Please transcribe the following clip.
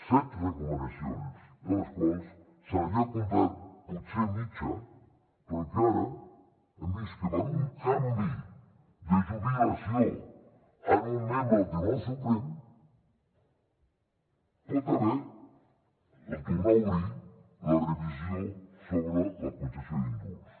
set recomanacions de les quals s’havia complert potser mitja però que ara hem vist que per un canvi de jubilació en un membre del tribunal suprem hi pot haver el tornar a obrir la revisió sobre la concessió d’indults